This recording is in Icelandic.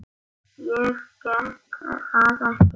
Ég get það ekki